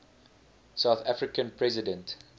south african president